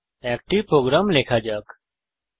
একটি প্রোগ্রাম লেখা শুরু করা যাক